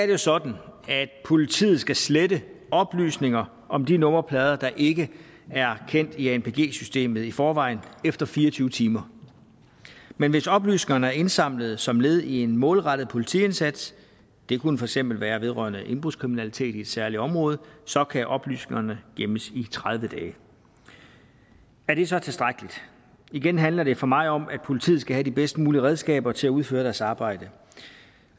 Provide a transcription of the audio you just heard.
jo sådan at politiet skal slette oplysninger om de nummerplader der ikke er kendt i anpg systemet i forvejen efter fire og tyve timer men hvis oplysningerne er indsamlet som led i en målrettet politiindsats det kunne for eksempel være vedrørende indbrudskriminalitet i et særligt område så kan oplysningerne gemmes i tredive dage er det så tilstrækkeligt igen handler det for mig om at politiet skal have de bedst mulige redskaber til at udføre deres arbejde